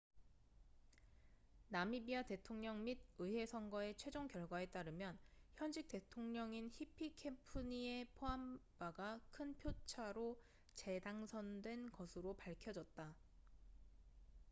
나미비아 대통령 및 의회 선거의 최종 결과에 따르면 현직 대통령인 히피케푸니에 포함바가 큰 표차로 재당선된 것으로 밝혀졌다